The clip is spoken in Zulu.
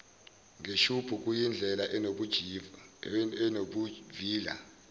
ngeshubhu kuyindlela enobuvila